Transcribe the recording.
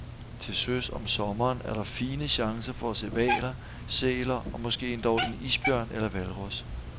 Til søs om sommeren er der fine chancer for at se hvaler, sæler og måske endog en isbjørn eller hvalros.